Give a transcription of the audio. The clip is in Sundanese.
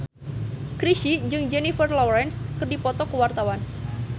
Chrisye jeung Jennifer Lawrence keur dipoto ku wartawan